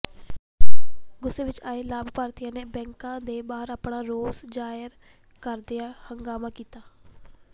ਗੁੱਸੇ ਵਿਚ ਆਏ ਲਾਭ ਪਾਤਰੀਆਂ ਨੇ ਬੈਂਕ ਦੇ ਬਾਹਰ ਆਪਣਾ ਰੋਸ ਜ਼ਾਹਰ ਕਰਦਿਆਂ ਹੰਗਾਮਾ ਕੀਤਾ